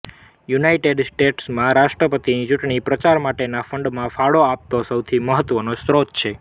United સ્ટેટ્સમાં રાષ્ટ્રપતિની ચૂંટણી પ્રચાર માટેના ફંડમાં ફાળો આપતો સૌથી મહત્વનો સ્ત્રોત છે